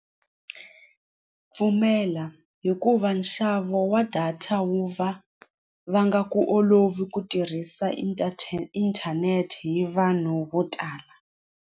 Pfumela hikuva nxavo wa data wu va va nga ku olovi ku tirhisa inthanete hi vanhu vo tala.